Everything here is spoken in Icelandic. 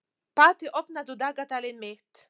Patti, opnaðu dagatalið mitt.